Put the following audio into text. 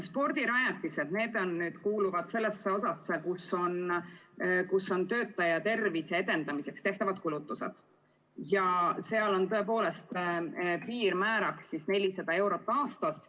Spordirajatised kuuluvad selle osa alla, kus on töötajate tervise edendamiseks tehtavad kulutused, ja seal on piirmäär 400 eurot aastas.